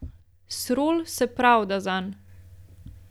Srol se pravda zanj.